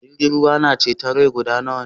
Jirgin ruwa na ceton rai guda nawa ne?